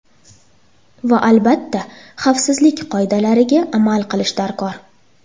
Va, albatta, xavfsizlik qoidalariga amal qilish darkor.